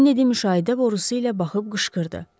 Keni din müşahidə borusu ilə baxıb qışqırdı.